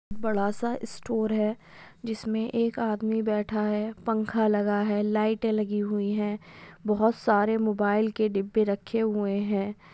बड़ा सा स्टोर है जिसमे एक आदमी बैठा है|